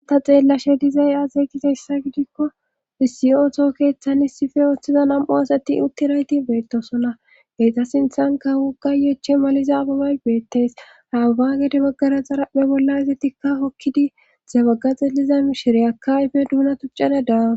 Ta xeellashe dizay azeegizayssa gidikko isiyoto keeththan issife ooththiza nam7u asati utti rayti beettosona geyta sinthanka wogayeeche maliza ababay beettes hababa gede maggara xarappe bolla izatikka hokkidi zebaga xeeliza mishire akka ayfe duuna tuccana daaw